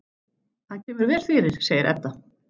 Hann kemur vel fyrir, segir Edda.